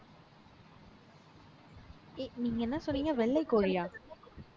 நீங்க என்ன சொன்னீங்க வெள்ளை கோழியா